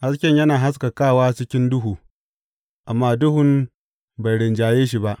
Hasken yana haskakawa cikin duhu, amma duhun bai rinjaye shi ba.